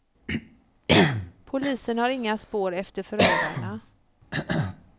Polisen har inga spår efter förövarna.